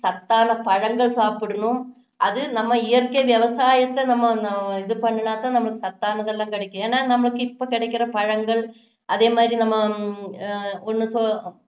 சத்தான பழங்கள் சாப்பிடணும் அது நம்ம இயற்கை விவசாயத்தை நம்ம இது பண்ணுனா தான் நமக்கு சத்தானது எல்லாம் கிடைக்கும் ஏன்னா நமக்கு இப்போ கிடைக்குற பழங்கள் அதே மாதிரி நம்ம